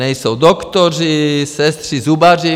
Nejsou doktoři, sestry, zubaři.